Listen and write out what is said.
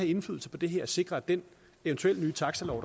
indflydelse på det her og sikre at den eventuelle nye taxalov